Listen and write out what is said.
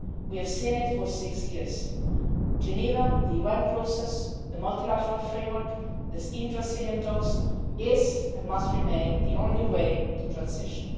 that. We have seen it for six years Geneva, the UN process, the multilateral framework, these intra Syrian talks are and must remain the only way to transition.